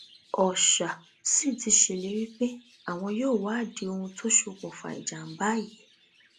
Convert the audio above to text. ọṣà sì ti ṣèlérí pé àwọn yóò wádìí ohun tó ṣokùnfà ìjàmbá yìí